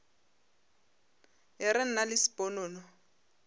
e re nna le sponono